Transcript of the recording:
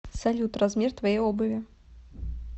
салют размер твоей обуви